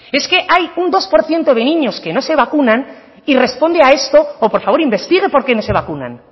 es que hay un dos por ciento de niños que no se vacunan y responde a esto o por favor investigue por qué no se vacunan